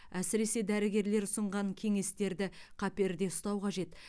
әсіресе дәрігерлер ұсынған кеңестерді қаперде ұстау қажет